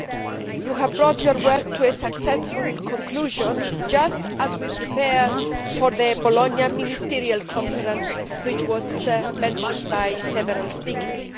Mr Berlinguer, you have brought your work to a successful conclusion just as we prepare for the Bologna ministerial conference, which was mentioned by several speakers.